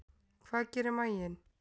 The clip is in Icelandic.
Hvað gerir maginn?